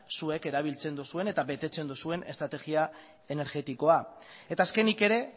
zuek erabiltzen duzuen eta betetzen duzuen estrategia energetikoa eta azkenik ere